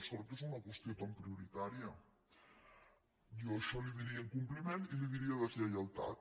sort que és una qüestió tan prioritària jo a això li diria incompliment i li diria deslleialtat